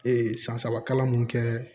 san saba kalan mun kɛ